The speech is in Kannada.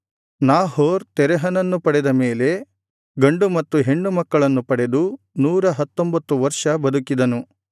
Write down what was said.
ನಾಹೋರ್ ತೆರಹನನ್ನು ಪಡೆದ ಮೇಲೆ ಗಂಡು ಮತ್ತು ಹೆಣ್ಣು ಮಕ್ಕಳನ್ನು ಪಡೆದು ನೂರ ಹತ್ತೊಂಬತ್ತು ವರ್ಷ ಬದುಕಿದನು